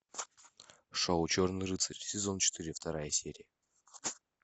шоу черный рыцарь сезон четыре вторая серия